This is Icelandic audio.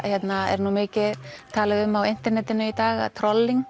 er mikið talað um á internetinu í dag